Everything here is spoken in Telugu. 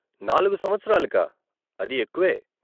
నాలుగు సంవత్సరాలకా, అది ఎక్కువే.